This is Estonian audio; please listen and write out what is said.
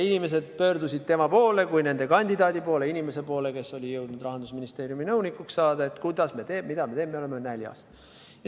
Inimesed pöördusid tema kui nende kandidaadi poole – inimese poole, kes oli jõudnud Rahandusministeeriumis nõunikuks saada –, et mida me teeme, me oleme näljas.